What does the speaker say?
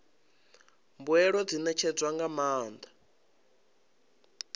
mbuelo dzi ṋetshedzwa nga maanḓa